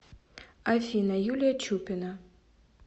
афина юлия чупина